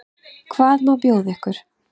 Hvað má bjóða ykkur?